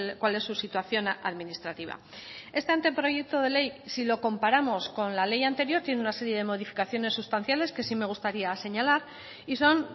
cuál es su situación administrativa este anteproyecto de ley si lo comparamos con la ley anterior tiene una serie de modificaciones sustanciales que sí me gustaría señalar y son